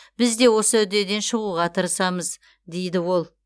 біз де осы үдеден шығуға тырысамыз дейді ол